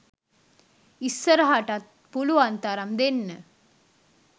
ඉස්සරහටත් පුළුවන් තරම් දෙන්න